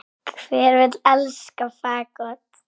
Hver vill elska fagott?